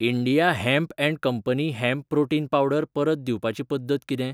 India hemp and company hemp protein powder परत दिवपाची पद्दत किदें?